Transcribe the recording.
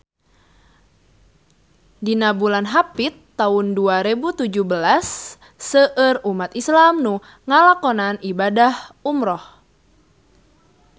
Dina bulan Hapit taun dua rebu tujuh belas seueur umat islam nu ngalakonan ibadah umrah